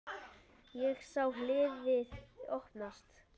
Ég sá hliðið opnast.